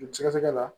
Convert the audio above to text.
Joli sɛgɛsɛgɛ la